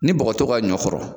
Ni bɔgɔ t'o ka ɲɔ kɔrɔ